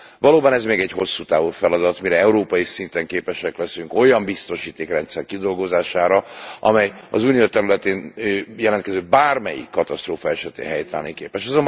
Valóban, ez még egy hosszú távú feladat, mire európai szinten képesek leszünk olyan biztosítékrendszer kidolgozására, amely az Unió területén jelentkező bármelyik katasztrófa esetén helytállni képes.